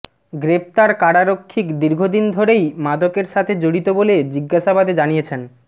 গ্রেফতার কারারক্ষী দীর্ঘদিন ধরেই মাদকের সাথে জড়িত বলে জিজ্ঞাসাবাদে জানিয়েছেন